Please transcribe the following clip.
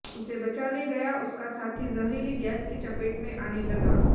उसे बचाने गया उसका साथी जहरीली गैस की चपेट में आने लगा